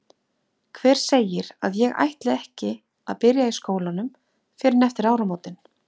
Hver segir að ég ætli ekki að byrja í skólanum fyrr en eftir áramótin?